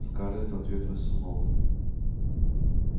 скарлетт в ответ высунула